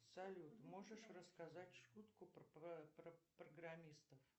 салют можешь рассказать шутку про программистов